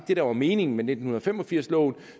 det der var meningen med nitten fem og firs loven